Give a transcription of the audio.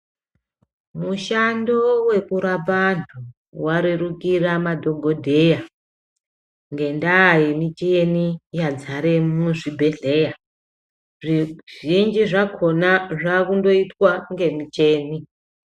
Mushando weku rapa antu wa rerukira madhokodheya ngenda ye micheni yadzare mu zvibhedhleya zvi zhinji zvakona zva kundoitwa nge mucheni.